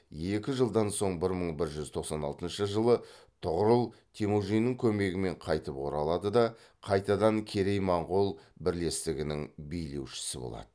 екі жылдан соң бір мың бір жүз тоқсан алтыншы жылы тұғырыл темүжіннің көмегімен қайтып оралады да қайтадан керей моғол бірлестігінің билеушісі болады